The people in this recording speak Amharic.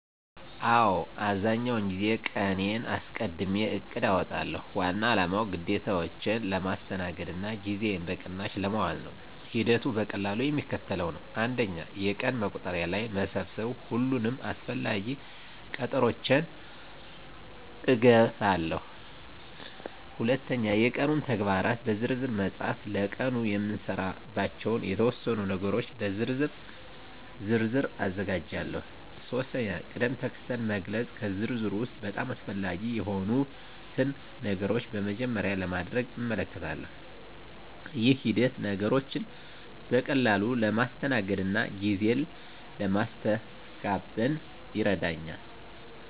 አዎ፣ አብዛኛውን ጊዜ ቀንዴን አስቀድሜ እቅድ አውጣለሁ። ዋና አላማው ግዴታዎቼን ለማስተናገድ እና ጊዜዬን በቅናሽ ለማዋል ነው። ሂደቱ በቀላሉ የሚከተለው ነው፦ 1. የቀን መቁጠሪያ ላይ መሰብሰብ ሁሉንም አስፈላጊ ቀጠሮዎቼን እገባለሁ። 2. የቀኑን ተግባራት በዝርዝር መፃፍ ለቀኑ የምሰራባቸውን የተወሰኑ ነገሮች በዝርዝር ዝርዝር አዘጋጃለሁ። 3. ቅድም-ተከተል መግለጽ ከዝርዝሩ ውስጥ በጣም አስፈላጊ የሆኑትን ነገሮች በመጀመሪያ ለማድረግ እመልከታለሁ። ይህ ሂደት ነገሮችን በቀላሉ ለማስተናገድ እና ጊዜ ለማስተጋበን ይረዳኛል።